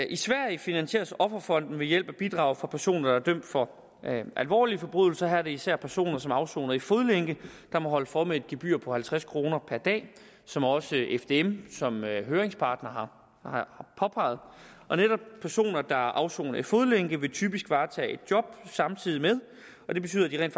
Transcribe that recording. i sverige finansieres offerfonden ved hjælp af bidrag fra personer der er dømt for alvorlige forbrydelser her er det især personer som afsoner i fodlænke der må holde for med et gebyr på halvtreds kroner per dag som også fdm som høringspart har påpeget netop personer der afsoner i fodlænke vil typisk varetage et job samtidig og det betyder at de rent